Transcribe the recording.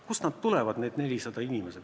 Kust nad tulevad, need 400 inimest?